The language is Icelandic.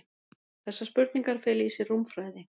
Þessar spurningar fela í sér rúmfræði.